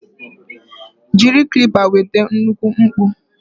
Jiri clippers nweta nnukwu mkpọ.